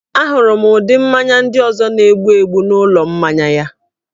A hụrụ ụdị mmanya ndị ọzọ na-egbu egbu n'ụlọ mmanya ya